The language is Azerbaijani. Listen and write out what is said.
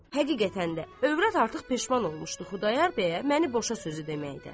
Həqiqətən də övrəd artıq peşman olmuşdu Xudayar bəyə məni boşa sözü deməkdən.